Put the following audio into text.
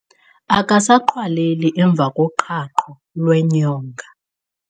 Akasaqhwaleli emva koqhaqho lwenyonga.